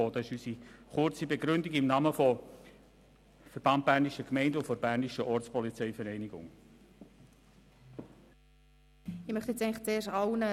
Das ist unsere kurze Begründung im Namen des Verbands Bernischer Gemeinden (VBG) und der Bernischen Ortspolizeivereinigung (BOV).